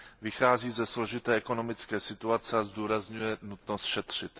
Vychází ze složité ekonomické situace a zdůrazňuje nutnost šetřit.